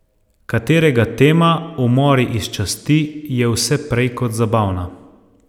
Katerega tema, umori iz časti, je vse prej kot zabavna.